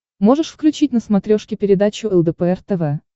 можешь включить на смотрешке передачу лдпр тв